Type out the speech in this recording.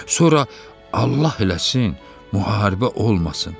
Sonra Allah eləsin müharibə olmasın.